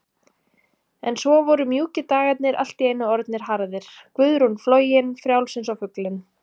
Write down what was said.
En svo voru mjúkir dagarnir allt í einu orðnir harðir, Guðrún flogin, frjáls einsog fuglinn.